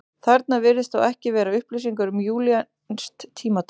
Þarna virðast þó ekki vera upplýsingar um júlíanskt tímatal.